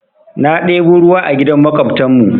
Na ɗebo ruwa a gidan maƙwabtan mu.